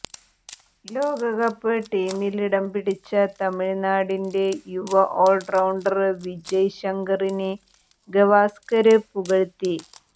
ലോകകപ്പ് ടീമിലിടം പിടിച്ച തമിഴ്നാടിന്റെ യുവ ഓള്റൌണ്ടര് വിജയ് ശങ്കറിനെ ഗവാസ്കര് പുകഴ്ത്തി